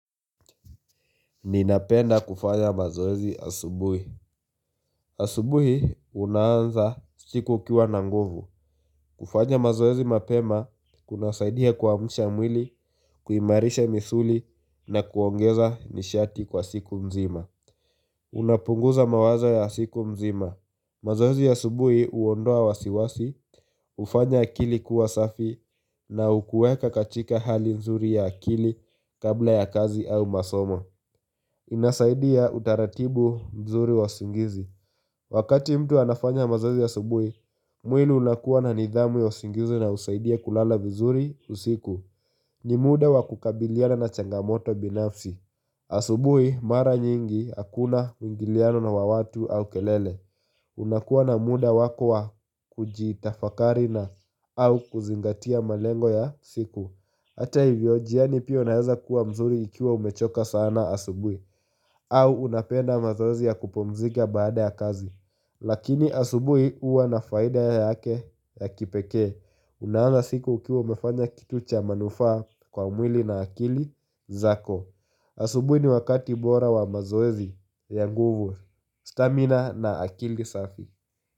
Ninapenda kufanya mazoezi asubuhi. Asubuhi unaanza siku ukiwa na nguvu kufanya mazoezi mapema kunasaidia kuamusha mwili, kuimarisha misuli na kuongeza nishati kwa siku mzima Unapunguza mawazo ya siku mzima mazoezi asubuhi huondoa wasiwasi, ufanya akili kuwa safi na ukuweka katika hali nzuri ya akili kabla ya kazi au masomo Inasaidia utaratibu mzuri wa usingizi Wakati mtu anafanya mazoezi asubuhi mwili unakuwa na nidhamu ya usingizi na husaidia kulala vizuri usiku ni muda wa kukabiliana na changamoto binafsi Asubuhi mara nyingi akuna uingiliano wa watu au kelele unakuwa na muda wako wa kujitafakari au kuzingatia malengo ya siku Ata hivyo jiani pia unaeza kuwa mzuri ikiwa umechoka sana asubuhi au unapenda mazoezi ya kupumzika baada ya kazi Lakini asubui uwa na faida yake ya kipekee Una anza siku ukiwa umefanya kitu cha manufaa kwa mwili na akili zako Asubui ni wakati bora wa mazoezi ya nguvu stamina na akili safi.